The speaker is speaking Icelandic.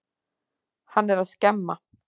Hann er að skemma.